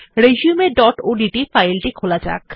resumeওডিটি ফাইল টি খোলা যাক